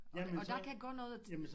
Og og der kan gå noget